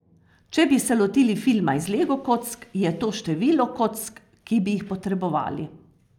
Če bi se lotili filma iz lego kock, je to število kock, ki bi jih potrebovali.